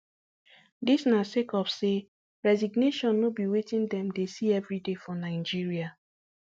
dis na sake of say resignation no be wetin dem dey see evriday for nigeria